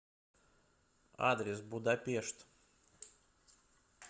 адрес будапешт